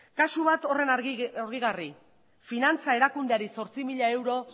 kasu bat harrigarri finantza erakundeari zortzi mila euro